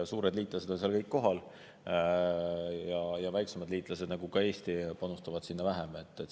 Suured liitlased on seal kõik kohal ja väiksemad liitlased, nagu ka Eesti, panustavad sinna vähem.